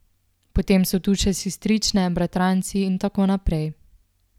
Potem so tu še sestrične, bratranci in tako naprej.